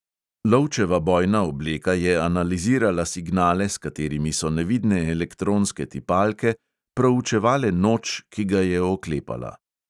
Lovčeva bojna obleka je analizirala signale, s katerimi so nevidne elektronske tipalke proučevale noč, ki ga je oklepala.